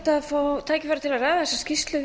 að ræða þessa skýrslu